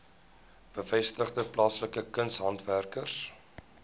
gevestigde plaaslike kunshandwerkers